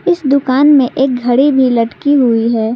इस दुकान में एक घड़ी भी लटकी हुई है।